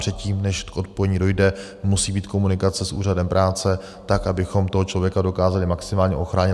Předtím, než k odpojení dojde, musí být komunikace s Úřadem práce tak, abychom toho člověka dokázali maximálně ochránit.